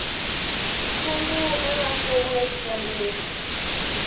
sungula ra fomo ya xikombelo